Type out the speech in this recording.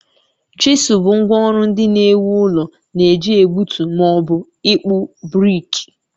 Chisel bụ ngwá ọrụ ndị na-ewu ụlọ na-eji egbutu ma ọ bụ ịkpụ brik